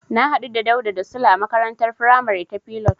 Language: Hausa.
Na hadu da Dauda da Sule a makarantar faramari ta Pilot.